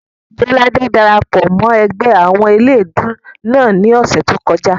Jọládé dara pọ̀ mọ́ ẹgbẹ́ àwọn eléèdúú náà ní ọ̀sẹ̀ tó kọjá